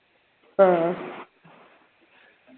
ആ